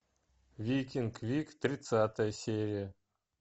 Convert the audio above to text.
викинг вик тридцатая серия